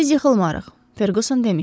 Biz yıxılmarıq, Ferquson demişdi.